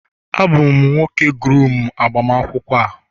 Abum nwoke nke groom n'agbamakwụkwọ a